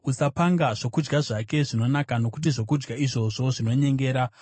Usapanga zvokudya zvake zvinonaka nokuti zvokudya izvozvo zvinonyengera.